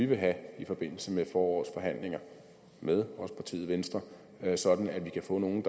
vil have i forbindelse med forårets forhandlinger med også partiet venstre sådan at vi kan få nogle